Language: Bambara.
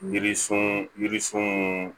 Yirisun yiri sun